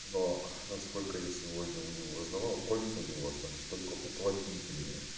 но насколько я сегодня у него узнавал кольца у него остались только уплотнительные